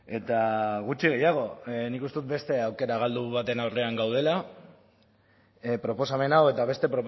eta gutxi gehiago nik uste dut beste aukera galdu baten aurrean gaudela proposamen hau eta beste